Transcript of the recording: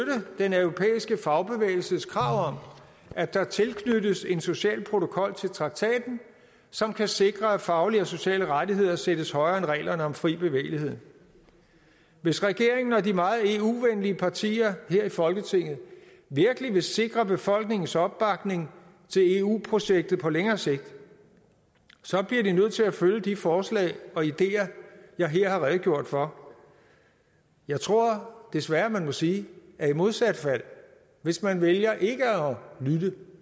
den europæiske fagbevægelses krav om at der tilknyttes en social protokol til traktaten som kan sikre at faglige og sociale rettigheder sættes højere end reglerne om fri bevægelighed hvis regeringen og de meget eu venlige partier her i folketinget virkelig vil sikre befolkningens opbakning til eu projektet på længere sigt bliver de nødt til at følge de forslag og ideer jeg her har redegjort for jeg tror desværre man må sige at i modsat fald hvis man vælger ikke at lytte